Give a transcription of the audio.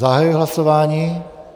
Zahajuji hlasování.